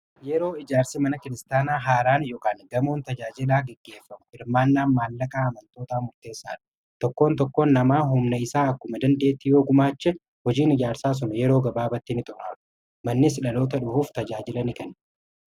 Yeroo ijaarsi mana kiristaanaa haaraan yookiin gamoon tajaajilaa gaggeeffamu hirmaannaan maallaqaa amantoota murteessaa dha. Tokkoon tokkoon namaa humni isaa akkuma dandeettii yoo gumaache hojiin ijaarsaa sun yeroo gabaabattii ni xumuraama. Mannis dhaloota dhufuuf tajaajila ni kenna.